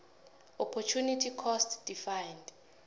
opportunity cost defined